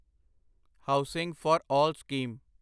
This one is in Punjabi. housing for all scheme